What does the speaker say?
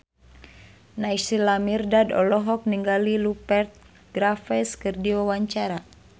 Naysila Mirdad olohok ningali Rupert Graves keur diwawancara